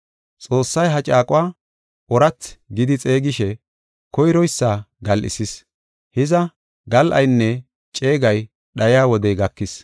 Xoossay ha caaquwa “Oorathi” gidi xeegishe koyroysa gal7isis. Hiza, gal7aynne ceegay dhayiya wodey gakis.